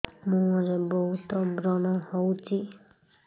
ମୁଁହରେ ବହୁତ ବ୍ରଣ ହଉଛି